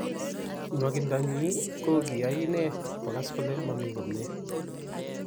nwakindo nyi ko koyai inee kogas kole mami komie